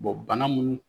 bana minnu